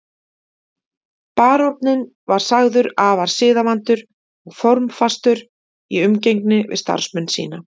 Baróninn var sagður afar siðavandur og formfastur í umgengni við starfsmenn sína.